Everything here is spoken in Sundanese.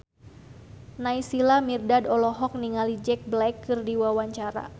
Naysila Mirdad olohok ningali Jack Black keur diwawancara